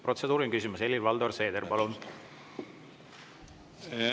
Protseduuriline küsimus, Helir-Valdor Seeder, palun!